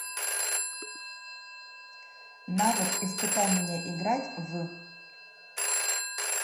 навык испытай меня играть в